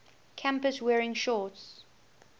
campus wearing shorts